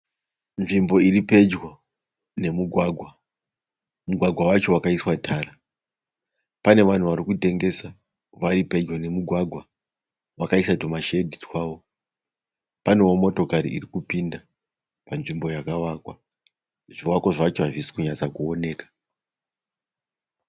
Nzvimbo iripedyo nemugwagwa. Mugwagwa wacho wakaiswa tara. Pane vanhu varikutengesa vari pedyo nemugwagwa vakaisa tumashedhi twavo. Panewo motokari irikupinda panzvimbo yakavakwa. Zvivakwa zvacho hazvisi kunyatsa kuonekwa.